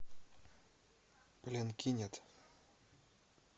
пленкинет